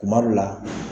Kuma dɔ la